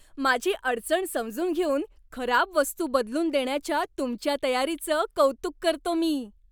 माझी अडचण समजून घेऊन खराब वस्तू बदलून देण्याच्या तुमच्या तयारीचं कौतुक करतो मी.